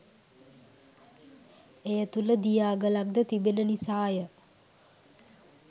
එය තුල දිය අගලක්ද තිබෙන නිසාය.